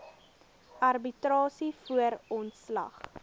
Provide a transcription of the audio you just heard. arbitrasie voor ontslag